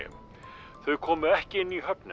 þau komu ekki inn í höfnina